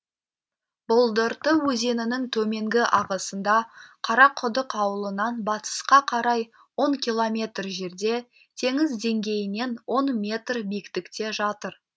бұлдырты өзенінің төменгі ағысында қарақұдық ауылынан батысқа қарай он километр жерде теңіз деңгейінен он метр биіктікте жатыр